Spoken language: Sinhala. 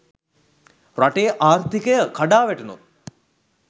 රටෙ ආර්ථිකය කඩා වැටුනොත්